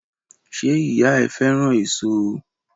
Ṣé ìyá ẹ fẹ́ràn èso?